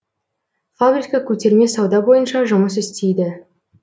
фабрика көтерме сауда бойынша жұмыс істейді